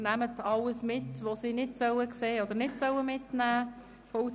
Nehmen Sie also alles mit, was die Mitglieder des Stadtrats nicht sehen oder mitnehmen sollen.